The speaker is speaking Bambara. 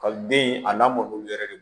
Kaliden a lamɔli yɛrɛ de